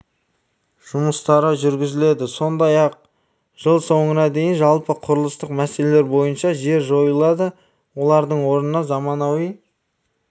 жұмыстары жүргізіледі сондай-ақ жыл соңына дейін жалпы құрылыстық мәселелер бойынша же жойылады олардың орнына заманауи